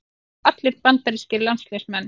Þeir eru allir bandarískir landsliðsmenn